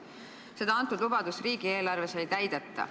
Seda lubadust riigieelarves ei täideta.